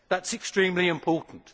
That is extremely important.